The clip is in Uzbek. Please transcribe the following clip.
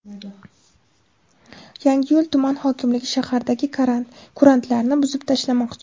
Yangiyo‘l tuman hokimligi shahardagi kurantlarni buzib tashlamoqchi.